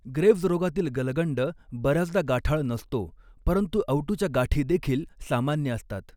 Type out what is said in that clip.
Graves रोगातील गलगंड बऱ्याचदा गाठाळ नसतो, परंतु अवटुच्या गाठी देखील सामान्य असतात.